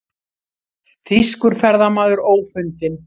Þýskur ferðamaður ófundinn